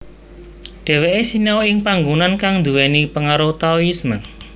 Dheweke sinau ing panggonan kang duwéni pengaruh Taoisme